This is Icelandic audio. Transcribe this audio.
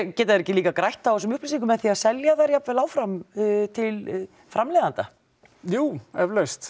geta þeir ekki líka grætt á þessum upplýsingum með því að selja þær jafnvel áfram til framleiðenda jú eflaust